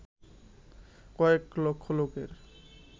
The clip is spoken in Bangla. কয়েক লক্ষ লোকের